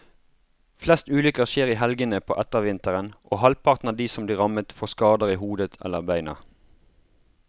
Flest ulykker skjer i helgene på ettervinteren, og halvparten av de som blir rammet får skader i hodet eller beina.